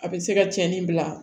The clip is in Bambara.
A bɛ se ka cɛnni bila